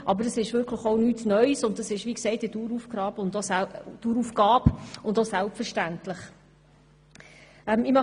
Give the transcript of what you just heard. Aber dies ist auch nichts Neues, und es ist wie gesagt eine Daueraufgabe und eine Selbstverständlichkeit.